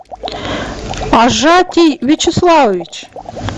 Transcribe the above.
ажатий вячеславович